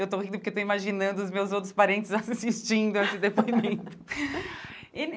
Eu estou rindo porque estou imaginando os meus outros parentes assistindo esse depoimento e.